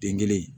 Den kelen